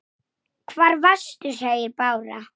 hvæsti hún á Svein